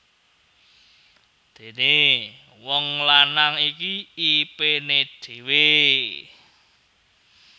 Dené wong lanang iki ipené dhewé